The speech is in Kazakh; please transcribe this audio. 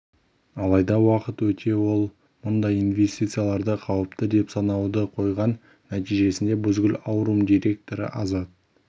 алайда уақыт өте ол мұндай инвестицияларды қауіпті деп санауды қойған нәтижесінде бузгул аурум директоры азат